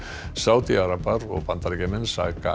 Sádi arabar og Bandaríkjamenn saka